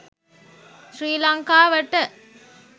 ශ්‍රී ලංකාවට